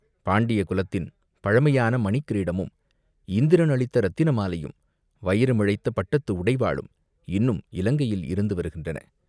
பாண்டிய குலத்தின் பழைமையான மணிக் கிரீடமும், இந்திரன் அளித்த இரத்தின மாலையும், வைரமிழைத்த பட்டத்து உடைவாளும் இன்னும் இலங்கையில் இருந்து வருகின்றன.